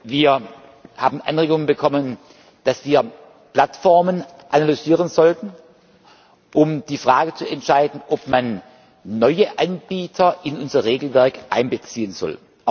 Wir haben Anregungen bekommen, dass wir Plattformen analysieren sollten, um die Frage zu entscheiden, ob man neue Anbieter in unser Regelwerk einbeziehen